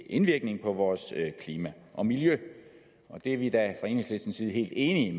indvirkning på vores klima og miljø og det er vi da fra enhedslistens side helt enige